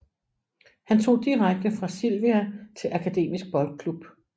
Han tog direkte fra Sylvia til Akademisk Boldklub